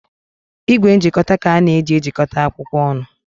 Igwe njikọta ka a na-eji ejikọta akwụkwọ ọnụ.